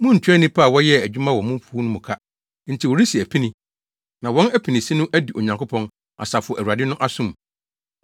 Muntuaa nnipa a wɔyɛɛ adwuma wɔ mo mfuw mu no ka enti wɔresi apini. Na wɔn apinisi no adu Onyankopɔn, Asafo Awurade no aso mu.